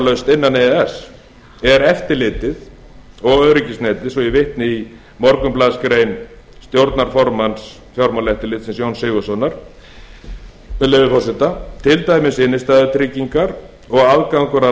e e s er eftirlitið og öryggisnetið svo ég vitni í morgunblaðsgrein stjórnarformanns fjármálaeftirlitsins jóns sigurðssonar með leyfi forseta til dæmis innstæðutryggingar og aðgangur að